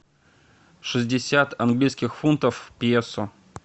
шестьдесят английских фунтов в песо